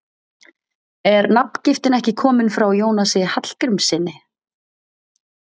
Er nafngiftin ekki komin frá Jónasi Hallgrímssyni?